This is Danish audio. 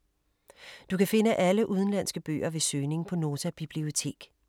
Du kan finde alle udenlandske bøger ved søgning på Nota Bibliotek.